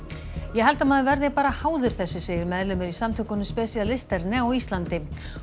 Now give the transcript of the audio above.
ég held að maður verði bara háður þessu segir meðlimur í samtökunum á Íslandi